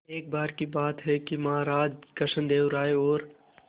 एक बार की बात है कि महाराज कृष्णदेव राय और